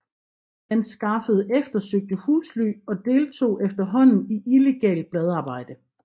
Han skaffede eftersøgte husly og deltog efterhånden i illegalt bladarbejde